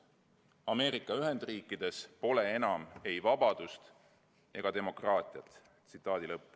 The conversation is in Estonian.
Ameerika Ühendriikides pole enam ei vabadust ega demokraatiat.